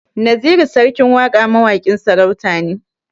Naziru sarkin waƙa mawaƙin sarauta ne